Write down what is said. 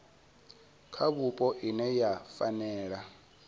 kha vhupo ine ya fanela